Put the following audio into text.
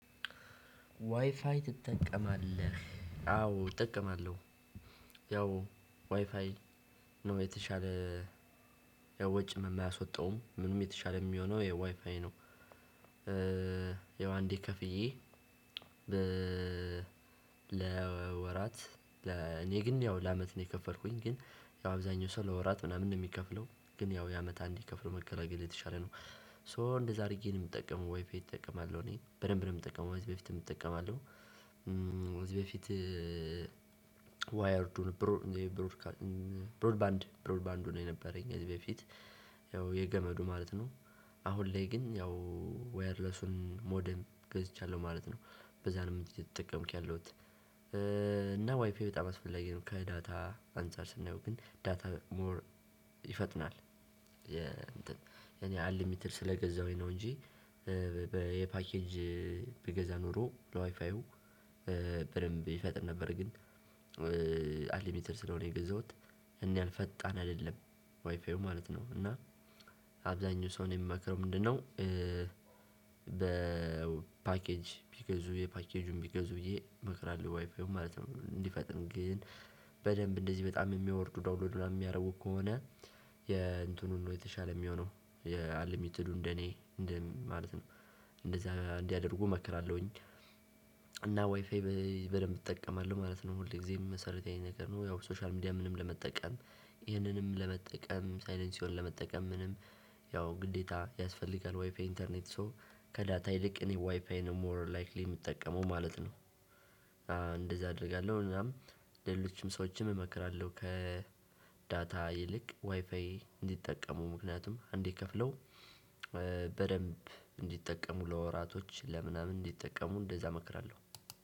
ዋይፋይ ትጠቀማለህ። አዎ እጠቀማለው። ያው ዋይፋይ የተሻለ ወጭ ማያስወጣውም ደግሞ የተሻለ ሚሆነው ዋይፋይ ነው ያው አንዴ ከፍዬ ለወራት እኔ ግን ያው ለአመት ነው የከፈልኩኝ ግን ያው አብዛኛው ሰው ለወራት ምናምን ነው ሚከፍለው ግን ያው የአመት አንዴ ከፍሎ መገላገል የተሻለ ነው ሶ እንደዛ አድርጌ ነው ምጠቀመው ወይ ፌስ እጠቀማለሁ እኔ በደንብ ነው ምጠቀመው ከዚሀ በፊትም እጠቀማለው። ከዚህ በፊት ዋየርዱን ብሮድባንድ ብሮድባንዱ ነው የነበረኝ ከዚህ በፊት ያው የገመዱ ማለት ነው። አሁን ላይ ግን ያው ዋየርለሱን ሞደም ገዝቻለሁ ማለት ነው በዛ ነው እየተጠቀምኩ ያለሁት እና ዋይፋየ በጣም አስፈላጊ ነው ከዳታ አንፃር ስናየው ግን ዳታ ሞር ይፈጥናል፤ እኔ አንልሚትድ ስለገዛሁኝ ነው እንጂ የፓኬጅ በገዛ ኖሮ ለዋይፋዩ በደንብ ይፈጥን ነበር ግን ስለሆነ የገዛሁት እሄን ያህል ፈጣን አይደለም ዋይፋዩ ማለት ነው እና አብዛኛው ሰው እኔ ሚመክረው ምንድነው፤ በ ፓኬጅ ቢገዙ የፓኬጁን ቢገዙ ብዬ እመክራለሁ ዋይፋዩን ማለት ነው እንዲፈጥን ግን በደንብ እንደዚህ በጣም የሚያወርዱ ዳውንሎድ የሚያደርጉ ከሆነ የእንትኑ ነው የተሻለ ሚሆነው አንልሚትዱ እንደ እኔ እንደዚህ ማለት ነው። እንደዛ እንዲያደርጉ መክራለሁኝ። እና ዋይፋይ በደንብ እጠቀማለው ማለት ነው። ሁል ጊዜም መሰረታዊ ነገር ነው ያው ሶሻል ሚዲያ ምንም ለመጠቀም ይህንንም ለመጠቀም ሳይለንስኦ ለመጠቀም ምናምን ያው ግዴታ ያስፈልጋል ዋይፋይ ኢንተርኔት ሶ ከዳታ ይልቅ እኔ ዋይፋይ ነው ሞር ላይክሊ ምጠቀመው ማለት ነው። እንደዛ አደርጋለሁ እናም ሌሎችም ሰዎችም እመክራለሁ ከዳታ ይልቅ ዋይፋይ እንዲጠቀሙ ምክንያቱም አንዴ ከፍለው በደንብ እንዲጠቀሙ ለወራቶች ለምናምን እንዲጠቀሙ እንደዛ እመክራለሁ።